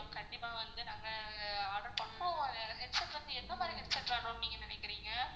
கண்டிப்பா வந்து நாங்க order இப்போ headset வந்து எந்த மாதிரி headset வேணும்னு நீங்க நினைக்குறீங்க